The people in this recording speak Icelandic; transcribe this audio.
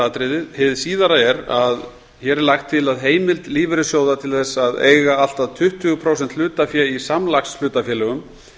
atriðið hið síðara er að hér er lagt til að heimild lífeyrissjóða til þess að eiga allt að tuttugu prósent hlutafé í samlagshlutafélögum